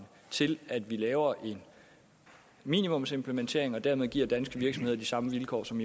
til at vi laver en minimumsimplementering og at vi dermed giver danske virksomheder de samme vilkår som